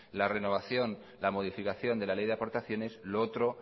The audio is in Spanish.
la renovación la modificación de la ley de aportaciones lo otro